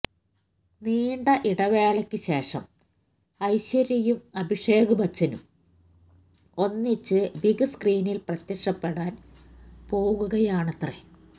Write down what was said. നീണ്ട ഇടവേളയ്ക്ക് ശേഷം ഐശ്യര്യയും അഭിഷേക് ബച്ചനും ഒന്നിച്ച് ബിഗ് സ്ക്രീനിൽ പ്രത്യക്ഷപ്പെടാൻ പോകുകയാണത്രേ